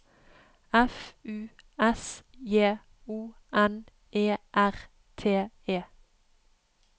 F U S J O N E R T E